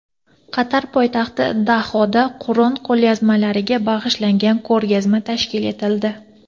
Qatar poytaxti Dohada Qur’on qo‘lyozmalariga bag‘ishlangan ko‘rgazma tashkil etildi.